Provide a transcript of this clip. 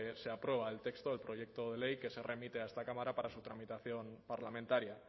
se aprueba el texto del proyecto de ley que se remite a esta cámara para su tramitación parlamentaria